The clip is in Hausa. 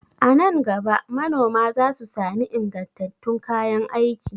A nan gaba manoma za su sami ingantattun kayan aiki.